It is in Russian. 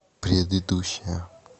предыдущая